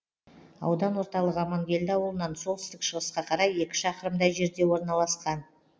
аудан ортылығы амангелді ауылынан солтүстік шығысқа қарай екі шақырымдай жерде орналасқан